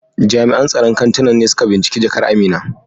Jami'an tsaron kantunan ne suka binciki jakar Amina.